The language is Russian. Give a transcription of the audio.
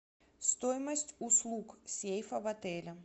стоимость услуг сейфа в отеле